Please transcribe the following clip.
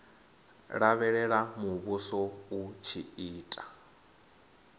lavhelela muvhuso u tshi ita